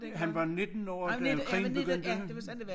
Han var 19 år da krigen begyndte